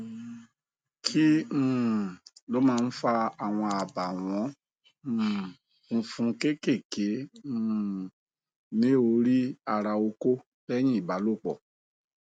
kí um ló máa ń fa àwọn abawon um funfun keekéeké um ní orí ara oko leyin ibalòpọ